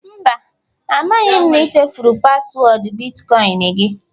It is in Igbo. Mba, amaghị m na ị chefuru paswọọdụ bitkọịn gị